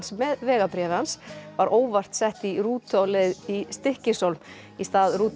með vegabréfi hans var óvart sett í rútu á leið í Stykkishólm í stað rútunnar